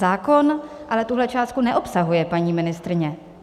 Zákon ale tuhle částku neobsahuje, paní ministryně.